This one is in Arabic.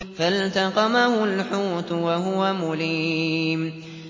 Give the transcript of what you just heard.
فَالْتَقَمَهُ الْحُوتُ وَهُوَ مُلِيمٌ